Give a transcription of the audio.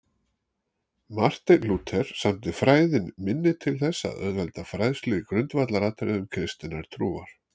Marteinn Lúther samdi Fræðin minni til þess að auðvelda fræðslu í grundvallaratriðum kristinnar trúar.